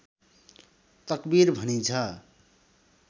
तकबीर भनिन्छ